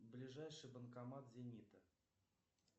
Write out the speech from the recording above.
ближайший банкомат зенита